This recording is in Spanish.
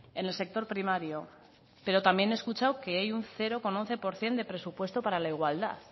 en el sector primario pero también he escuchado que hay un cero coma once por ciento de presupuesto para la igualdad